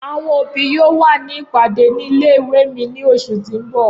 Awọn obi yoo wa ni ipade ni ìle-ìwe mi ni oṣu ti n bọ.